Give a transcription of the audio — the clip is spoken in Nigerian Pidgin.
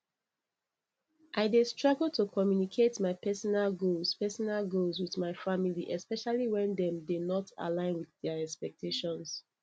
i dey struggle to communicate my personal goals personal goals with my family especially when dem dey not align with their expectations